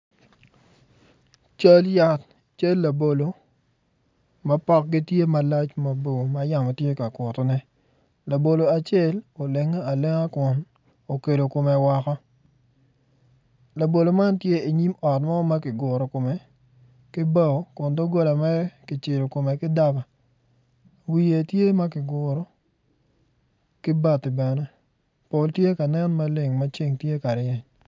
Cal yat cal labolo ma pokgi tye malac ma mabor ma yamo tye ka kutone labolo acel olenge alenge kun okelo kome woko labolo man tye inyom ot mo ma kiguro kome ki bao kun dogola mere kicelo kome ki daba wiye tye ma kiguro ki bati bene pol tye ka nen maleng ma ceng tye ka ryeny.